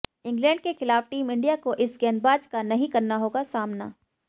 England के खिलाफ team India को इस गेंदबाज का नहीं करना होगा सामना